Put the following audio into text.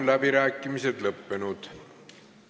Läbirääkimised on lõppenud.